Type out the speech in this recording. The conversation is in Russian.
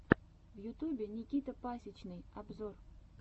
в ютубе никита пасичный обзор